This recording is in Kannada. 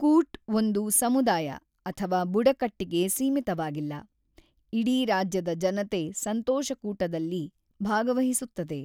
ಕೂಟ್ ಒಂದು ಸಮುದಾಯ ಅಥವಾ ಬುಡಕಟ್ಟಿಗೆ ಸೀಮಿತವಾಗಿಲ್ಲ - ಇಡೀ ರಾಜ್ಯದ ಜನತೆ ಸಂತೋಷಕೂಟದಲ್ಲಿ ಭಾಗವಹಿಸುತ್ತದೆ.